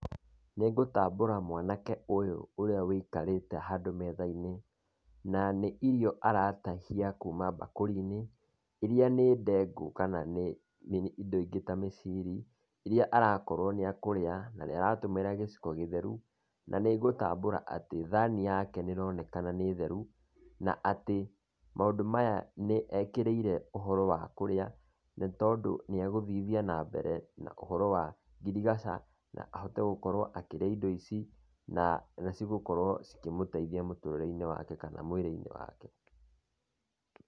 Nĩ ngũtambũra mwanake ũyũ ũrĩa ũikarĩte handũ metha-inĩ, na nĩ irio aratahia kuuma mbakũri-inĩ, iria nĩ ndengũ kana nĩ indo ingĩ ta mĩciri, iria arakorwo nĩ ekũrĩa na nĩ aratũmĩra gĩciko gĩtheru, na nĩ ngũtambũra atĩ, thani yake nĩ ĩronekana nĩ theru na atĩ maũndũ maya nĩ ekĩrĩire ũhoro wa kũrĩa, nĩ tondũ nĩ egũthithia na mbere na ũhoro wa ngirigaca na ahote gũkorwo akĩrĩa indo ici na nĩ cigakorwo cikĩmũteithia mũtũrĩre-inĩ wake kana mwĩrĩ-inĩ wake.